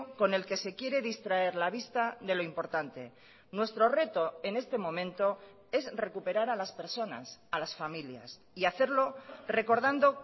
con el que se quiere distraer la vista de lo importante nuestro reto en este momento es recuperar a las personas a las familias y hacerlo recordando